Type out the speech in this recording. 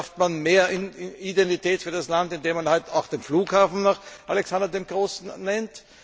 Schafft man mehr Identität für das Land, indem man heute auch den Flughafen nach Alexander dem Großen nennt?